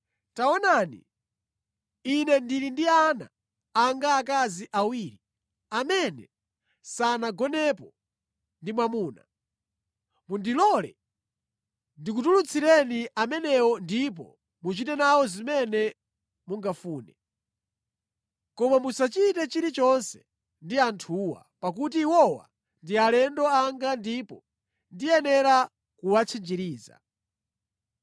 Taonani, ine ndili ndi ana anga akazi awiri amene sanagonepo ndi mwamuna. Mundilole ndikutulutsireni amenewo ndipo muchite nawo zimene mungafune. Koma musachite chilichonse ndi anthuwa, pakuti iwowa ndi alendo anga ndipo ndiyenera kuwatchinjiriza.”